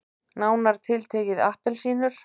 Nánar tiltekið appelsínur.